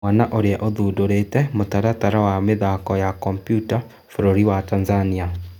Mwana ũrĩa ũthundĩrĩte mũtaratara wa mĩthako ya kompyuta bũrũri wa Tanzania